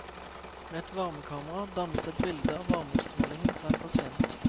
Med et varmekamera dannes et bilde av varmeutstrålingen fra en pasient.